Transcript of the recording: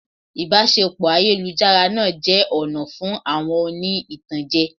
Ìbáṣepọ̀ ayélujára náà jẹ́ ọ̀nà fún àwọn oní ìtànjẹ.